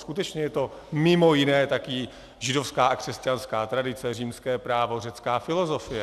Skutečně je to mimo jiné taky židovská a křesťanská tradice, římské právo, řecká filozofie.